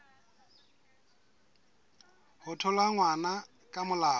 ho thola ngwana ka molao